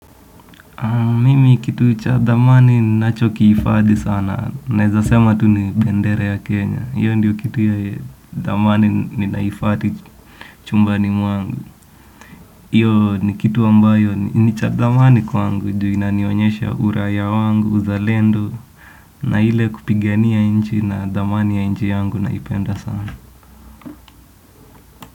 Mimi kitu cha dhamani nacho kiifadhi sana. Naeza sema tu ni bendera ya Kenya. Hiyo ndiyo kitu ya dhamani ninahifadhi chumbani mwangu. Hiyo ni kitu ambayo nicha thamani kwangu. Juu inanionyesha uraia wangu. Uza lendo. Na ile kupigania nchi na dhamani ya inchi yangu naipenda sana.